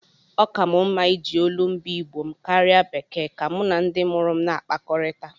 Ọ ka m mma iji olumba Igbo m karịa bekee ka mụ na ndị mụrụ m na-akpakọrịta.